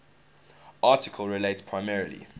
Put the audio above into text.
article relates primarily